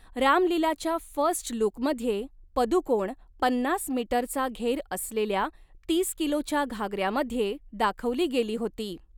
राम लीलाच्या फर्स्ट लूकमध्ये पदुकोण पन्नास मीटरचा 'घेर' असलेल्या तीस किलोच्या घागऱ्यामध्ये दाखवली गेली होती.